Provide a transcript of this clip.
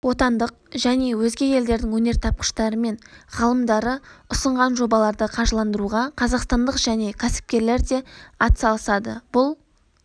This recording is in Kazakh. отандық және өзге елдердің өнертапқыштары мен ғалымдары ұсынған жобаларды қаржыландыруға қазақстандық жеке кәсіпкерлер де атсалысады бұл